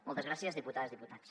moltes gràcies diputades diputats